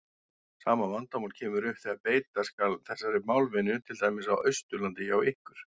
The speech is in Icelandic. Sama vandamál kemur upp þegar beita skal þessari málvenju til dæmis á Austurlandi hjá okkur.